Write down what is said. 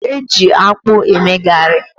Eji akpụ eme garị.